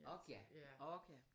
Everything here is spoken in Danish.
Ork ja ork ja